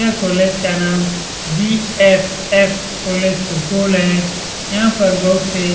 यह कॉलेज का नाम बी.एस.एस. कॉलेज सुपौल है यहाँ पर बहुत से --